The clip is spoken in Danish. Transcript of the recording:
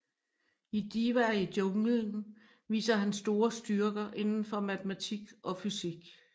I Divaer i Junglen viste han store styrker indenfor matematik og fysik